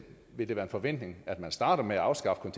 vil det være en forventning at man starter med at afskaffe